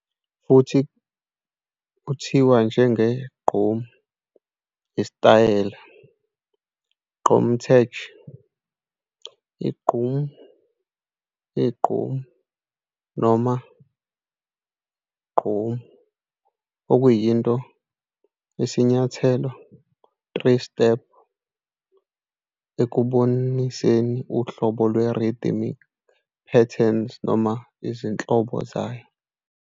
Futhi, uthiwa njenge-GQOM, isitayela, gqom tech, qgom, igqom, noma gqomu, okuyinto i-sinyathelo 3 step ekuboniseni uhlobo lwe-rhythmic patterns noma izinhlobo zayo.